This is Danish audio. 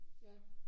Ja